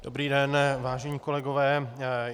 Dobrý den, vážení kolegové.